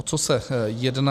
O co se jedná?